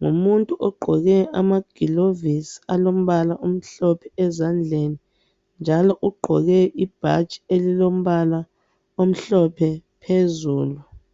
Ngumuntu ogqoke amagilovisi alombala omhlophe ezandleni, njalo ugqoke ibhatshi elilombala omhlophe phezulu.